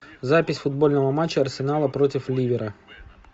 запись футбольного матча арсенала против ливера